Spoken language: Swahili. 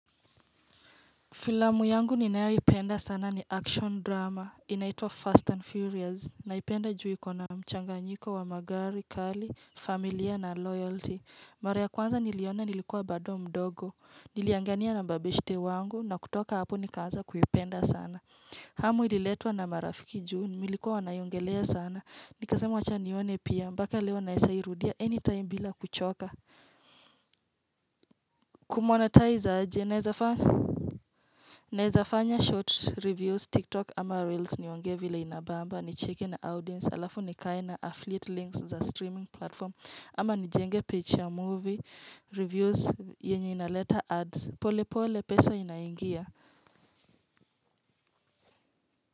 Filamu yangu ninayoipenda sana ni action drama, inaitwa Fast and Furious, naipenda juu iko na mchanganyiko wa magari, kali, familia na loyalty Mara ya kwanza niliona nilikuwa bado mdogo, niliangania na mabeshte wangu, na kutoka hapo nikaaza kuiipenda sana hamu ililetwa na marafiki juu milikua wanaiongelea sana, nikasama wacha nione pia, mpaka leo naesa irudia any time bila kuchoka Kumonetize aje naezafanya short reviews, tik tok ama reels niongee vila inabamba, nicheki na audiens, alafu nikae na affiliate links za streaming platform ama nijenga picha ya movie, reviews yenye inaleta ads, pole pole pesa inaingia.